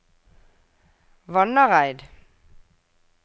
Vannareid